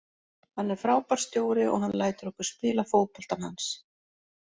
Hann er frábær stjóri og hann lætur okkur spila fótboltann hans.